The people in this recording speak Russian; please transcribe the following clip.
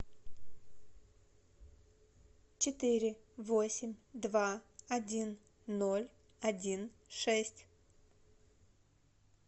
четыре восемь два один ноль один шесть